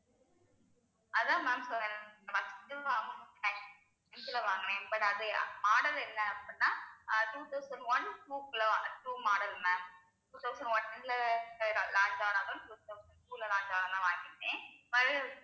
அதான் ma'am வாங்கினேன் but அது model என்ன அப்படின்னா ஆஹ் two thousand one two ல வாங்க two model ma'am two thousand one ல launch ஆனதும் two thousand two ல launch ஆனதும் வாங்கிட்டேன்